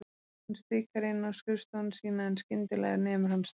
Hann stikar inn á skrifstofuna sína en skyndi- lega nemur hann staðar.